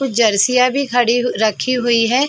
कुछ जर्सीयाँ भी खड़ी हु रखी हुई है।